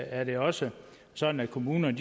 er det også sådan at kommunerne